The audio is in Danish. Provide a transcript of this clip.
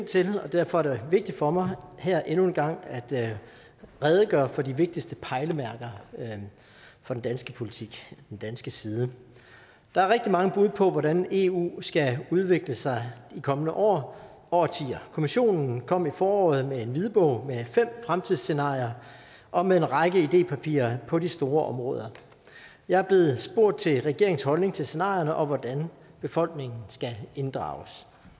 til og derfor er det vigtigt for mig her endnu en gang at redegøre for de vigtigste pejlemærker for den danske politik den danske side der er rigtig mange bud på hvordan eu skal udvikle sig de kommende år og årtier kommissionen kom i foråret med en hvidbog med fem fremtidsscenarier og med en række idépapirer på de store områder jeg er blevet spurgt til regeringens holdning til scenarierne og hvordan befolkningen skal inddrages